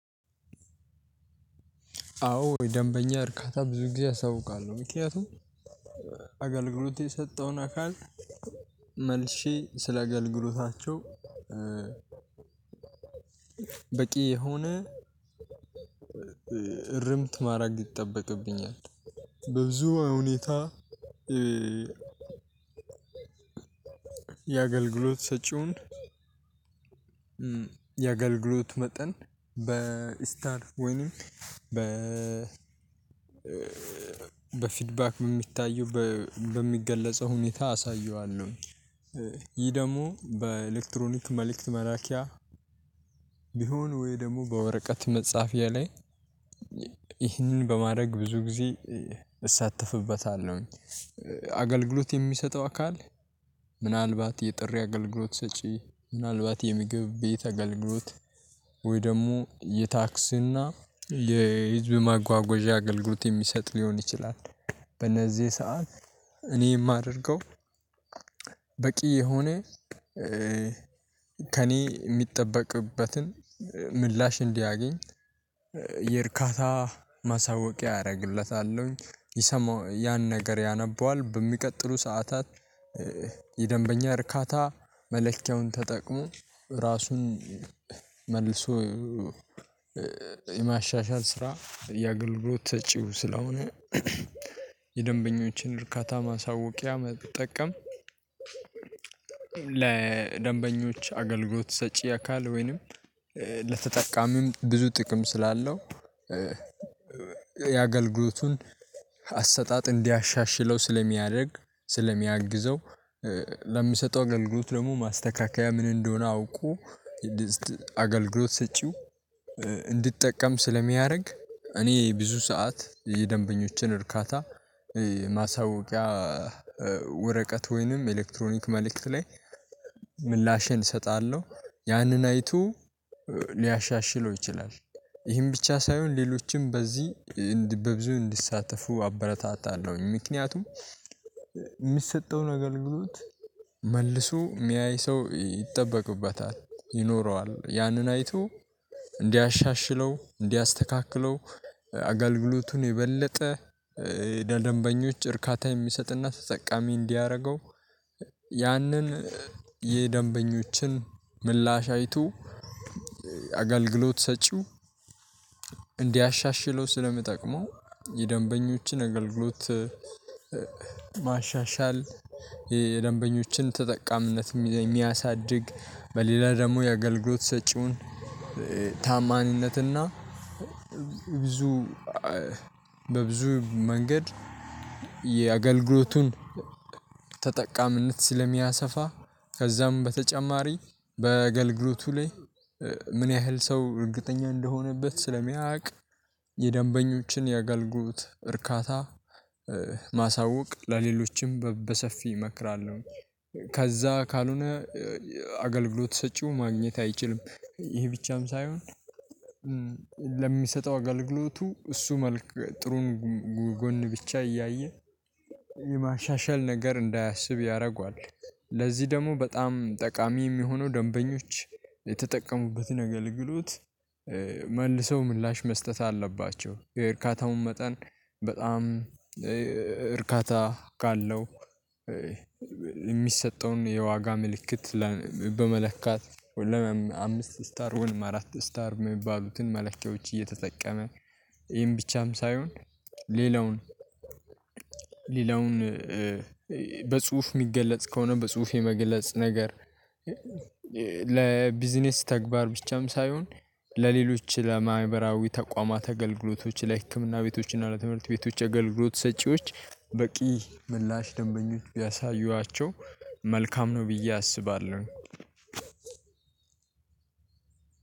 አዎ የደንበኛ እርካታ ብዙ ጊዜ አሳውቃለሁ ምክንያቱም አገልግሎት የሰጠውን አካል መልሼ ስለ አገልግሎታቸው በቂ የሆነ እርምት ማድረግ ይጠበቅብኛል። በብዙ ሁኔታ የአገልግሎት ሰጪውን የአገልግሎት መጠን በስታር ወይንም በፊድ ባክ የሚታዩ በሚገለጸው ሁኔታ አሳየዋለሁ። ይህ ደግሞ በኤሌክትሮኒክ መልእክት መላኪያ የሆነ ወይ ደግሞ በወረቀት መጻፊያ ላይ ይህንን በማድረግ ብዙ ጊዜ እሳተፍበታለሁኝ። አገልግሎት የሚሰጠው አካል ምናልባት የጥሪ አገልግሎት ሰጪ ምናልባት የምግብ ቤት አገልግሎት ወይ ደግሞ የታክስና የህዝብ ማጓጓዣ አገልግሎት የሚሰጥ ሊሆን ይችላል። በእነዚህ ሰዓት እኔ የማደርገው በቂ የሆነ ከእኔ የሚጠበቅበትን ምላሽ እንዲያገኝ የእርካታ ማሳወቂያ አደርግለታለሁኝ ይሰማው ያን ነገር ያነበዋል በሚቀጥሉ ሰዓታት የደንበኛ እርካታ መለኪያውን ተጠቅሞ ራሱን መልሶ የማሻሻል ስራ የአገልግሎት ሰጪው ስለሆነ። የደንበኞችን እርካታ ማሳወቂያ መጠቀም ለደንበኞች አገልግሎት ሰጪ አካል ወይንም ለተጠቃሚም ብዙ ጥቅም ስላለው የአገልግሎቱን አሰጣጥ እንዲያሻሽለው ስለሚያደርግ ስለሚያግዘው ለምሰጠው አግልግሎት ደግሞ ማስተካከያ ምን እንደሆነ አውቆ። አገልግሎት ሰጪው እንዲጠቀም ስለሚያደርግ እኔ ብዙ ሰዓት የደንበኞችን እርካታ ማሳወቂያ ወረቀት ወይንም ኤሌክትሮኒክ መልእክት ላይ ምላሼን እሰጣለሁ ያንን አይቶ ሊያሻሽለው ይችላል። ይህን ብቻ ሳይሆን ሌሎችንም በዚህ በብዙ እንዲሳተፉ አበረታታለሁኝ ምክንያቱም የሚሰጠውን አገልግሎት መልሶ የሚያይ ሰው ይጠበቅበታል ይኖረዋል ያንን አይቶ እንዲያሻሽለው እንዲያስተካክለው አገልግሎቱን የበለጠ ለደንበኞች እርካታ የሚሰጥና ተጠቃሚ እንዲያደርገው ያንን የደንበኞችን ምላሽ አይቶ አገልግሎት ሰጪው እንዲያሻሽለው ስለሚጠቅመው። የደንበኞችን አገልግሎት ማሻሻል የደንበኞችን ተጠቃሚነት የሚያሳድግ በሌላ ደግሞ የአገልግሎት ሰጪውን ተዓማኒነትና ብዙ በብዙ መንገድ የአገልግሎቱን ተጠቃሚነት ስለሚያሰፋ ከዛም በተጨማሪ በአገልግሎቱ ላይ ምን ያህል ሰው እርግጠኛ እንደሆነበት ስለሚያውቅ የደንበኞችን የአገልግሎት እርካታ ማሳወቅ ለሌሎችም በሰፊ እመክራለሁ። ከዛ ካልሆነ አገልግሎት ሰጪው ማግኘት አይችልም ይሄ ብቻም ሳይሆን ለሚሰጠው አገልግሎቱ እሱ መልኩ ጥሩን ጎን ብቻ እያየ የማሻሻል ነገር እንዳያስብ ያደርጓል። ለዚህ ደግሞ በጣም ጠቃሚ የሚሆነው ደንበኞች የተጠቀሙበትን አገልግሎት መልሰው ምላሽ መስጠት አለባቸው። የእርካታውን መጠን በጣም እርካታ ካለው የሚሰጠውም የዋጋ ምልክት በመለካት አምስት ስታር አራት ስታር የሚባሉትን መለኪያዎች እየተጠቀመ ይሄን ብቻም ሳይሆን። ሌላውን ሌላውን በጽሁፍ የሚገለጽ ከሆነ በጽሁፍ የመገለጽ ነገር ለቢዝነስ ተግባር ብቻም ሳይሆን ለሌሎች ለማህበራዊ ተቋማት አገልግሎቶች ለህክምና ቤቶች እና ለትምህርት ቤቶች አገልግሎት ሰጪዎች በቂ ምላሽ ደንበኞች ቢያሳዩዋቸው መልካም ነው። ብዬ አስባለሁ።